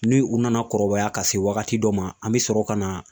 Ni u nana kɔrɔbaya ka se wagati dɔ ma an bɛ sɔrɔ ka na